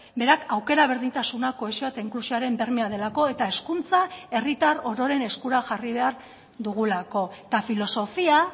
berak aukera berdintasuna kohesioa eta inklusioaren bermea delako eta hezkuntza herritar ororen eskura jarri behar dugulako eta filosofia